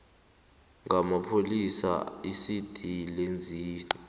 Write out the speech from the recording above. ngamapholisa iicd lenzani